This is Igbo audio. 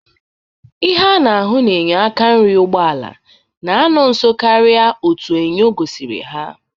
Ihe a na-ahụ n'enyo aka nri ụgbọala n'anọ nso karị otu enyo gosiri ha.